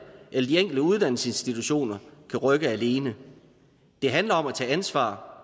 eller de enkelte uddannelsesinstitutioner kan rykke alene det handler om at tage ansvar